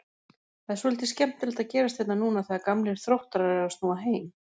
Það er svolítið skemmtilegt að gerast hérna núna þegar gamlir Þróttarar eru að snúa heim?